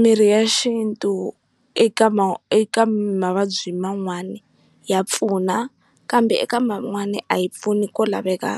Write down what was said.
Mirhi ya xintu eka ma eka mavabyi man'wani ya pfuna kambe eka man'wani a yi pfuni ko laveka